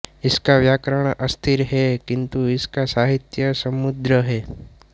इसका व्याकरण अस्थिर है किंतु इसका साहित्य समृद्ध है